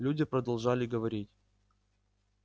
люди продолжали говорить